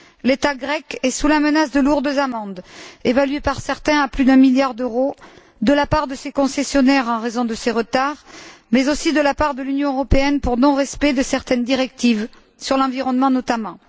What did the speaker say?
L'État grec est sous la menace de lourdes amendes évaluées par certains à plus d'un milliard d'euros de la part de ses concessionnaires en raison de ses retards, mais aussi de la part de l'Union européenne pour non respect de certaines directives, sur l'environnement notamment.